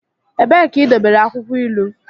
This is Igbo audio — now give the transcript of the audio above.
Ebee ka idobere akwukwo ilu?